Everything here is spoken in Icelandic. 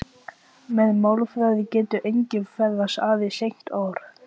Fólk væri ekki mikið frábrugðið þeim þegar til stykkisins kæmi.